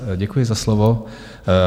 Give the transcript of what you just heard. Děkuji za slovo.